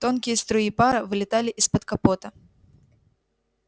тонкие струи пара вылетали из-под капота